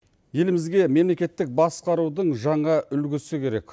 елімізге мемлекеттік басқарудың жаңа үлгісі керек